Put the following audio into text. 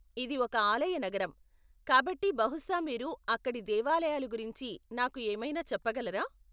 ఇది ఒక ఆలయ నగరం, కాబట్టి బహుశా మీరు అక్కడి దేవాలయాలు గురించి నాకు ఏమైనా చెప్పగలరా ?